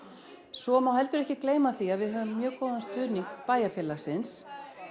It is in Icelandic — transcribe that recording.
svo má heldur ekki gleyma því að við höfum mjög góðan stuðning bæjarfélagsins